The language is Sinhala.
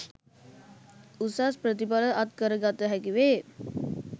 උසස් ප්‍රතිඵල අත්කර ගත හැකි වේ